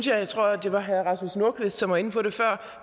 jeg tror det var herre rasmus nordqvist der var inde på det før